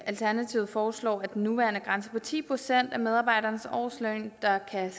alternativet foreslår at den nuværende grænse på ti procent af medarbejdernes årsløn der kan